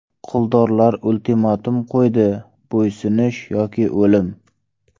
Quldorlar ultimatum qo‘ydi: bo‘ysunish yoki o‘lim.